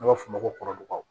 An b'a f'o ma ko kɔrɔbɔ